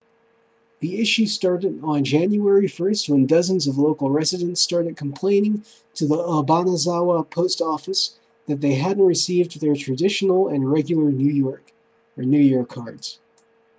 the issue started on january 1st when dozens of local residents started complaining to the obanazawa post office that they hadn't received their traditional and regular new year cards